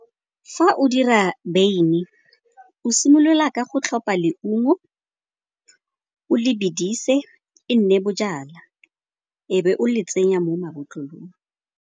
Fa o dira wyn o simolola ka go tlhopha leungo o le bedise e nne bojalwa, ebe o le tsenya mo mabotlolong.